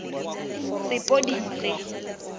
sepodisi